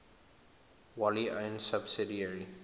wholly owned subsidiary